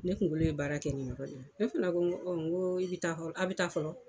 Ne kunkolo ye baara kɛ nin yɔrɔ in na, ne fana ko n ko i bɛ taa aw bɛ taa fɔlɔ.